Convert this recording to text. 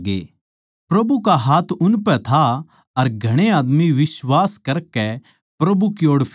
प्रभु का हाथ उनपै था अर घणे आदमी बिश्वास करकै प्रभु की ओड़ फिरे